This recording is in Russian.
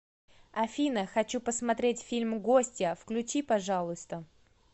афина хочу посмотреть фильм гостья включи пожалуйста